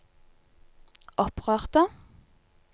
opprørte